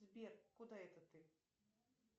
сбер куда это ты